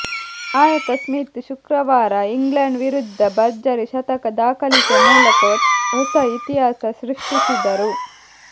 ನಾಯಕ ಸ್ಮಿತ್ ಶುಕ್ರವಾರ ಇಂಗ್ಲೆಂಡ್ ವಿರುದ್ಧ ಭರ್ಜರಿ ಶತಕ ದಾಖಲಿಸುವ ಮೂಲಕ ಹೊಸ ಇತಿಹಾಸ ಸೃಷ್ಟಿಸಿದರು